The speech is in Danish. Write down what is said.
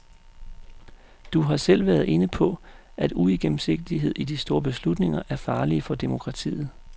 Du har selv været inde på, at uigennemsigtighed i de store beslutninger er farlige for demokratiet.